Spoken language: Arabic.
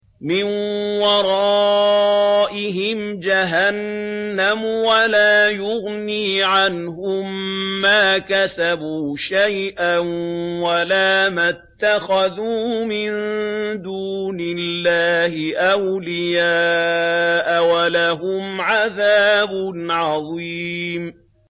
مِّن وَرَائِهِمْ جَهَنَّمُ ۖ وَلَا يُغْنِي عَنْهُم مَّا كَسَبُوا شَيْئًا وَلَا مَا اتَّخَذُوا مِن دُونِ اللَّهِ أَوْلِيَاءَ ۖ وَلَهُمْ عَذَابٌ عَظِيمٌ